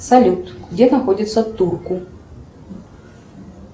салют где находится турку